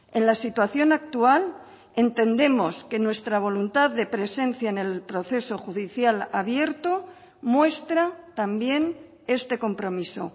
en la situación actual entendemos que nuestra voluntad de presencia en el proceso judicial abierto muestra también este compromiso